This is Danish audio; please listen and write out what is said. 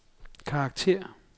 karakter